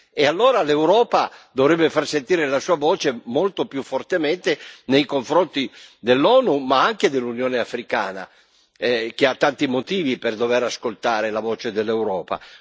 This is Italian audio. E allora l'Europa dovrebbe far sentire la sua voce molto più fortemente nei confronti dell'ONU, ma anche dell'Unione Africana, che ha tanti motivi per dovere ascoltare la voce dell'Europa.